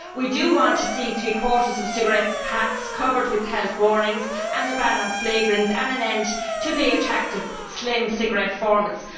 We do want to see three quarters of cigarette packs covered with health warnings and a ban on flavourings and an end to the attractive slim cigarette formats.